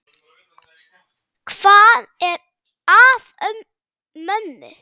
Hvað er að mömmu?